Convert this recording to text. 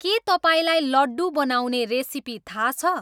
के तपाईँलाई लड्डु बनाउने रेसिपी थाहा छ